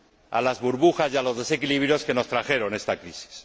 a las burbujas y a los desequilibrios que nos trajeron esta crisis.